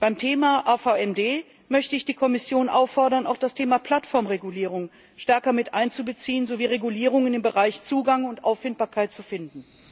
Beim Thema AVMD möchte ich die Kommission auffordern, auch das Thema Plattformregulierung stärker mit einzubeziehen sowie Regulierungen im Bereich Zugang und Auffindbarkeit zu finden.